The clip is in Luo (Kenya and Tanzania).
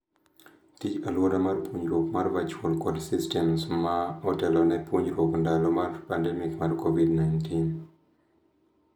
Tij aluora mar puonjruok mar virtual kod systems ma otelone puonjruok ndalo pandemic mar Covid-19.